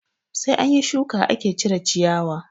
Sai anyi shuka ake cire ciyawa